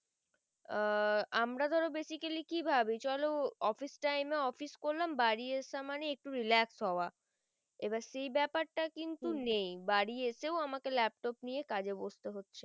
আহ আমরা ধরো basically কি ভাবি চলো office time এ office করলাম বাড়ি এসার মানে একটু relax হওয়া এইবার সেই বেপার টা কি কিন্তু নেই বাড়ি এসেও আমাকে laptop নিয়ে কাজে বসতে হচ্ছে।